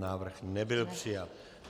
Návrh nebyl přijat.